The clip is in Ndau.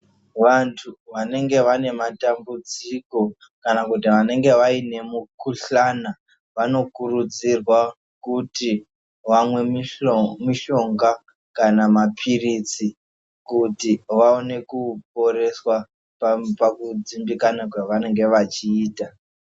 Vantu vanenge vaine matambudziko kana kuti vanenge vaine mukhuhlane vanokurudzirwa kuti vamwe mushonga kana mapiritsi kuti vaone kuporeswa pakudzimbikana kwavanenge vachiita.